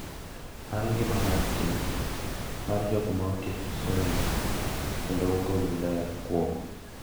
Mar ngima mar tich mar jogo ma otieko somo kendo ogolo ler kuom,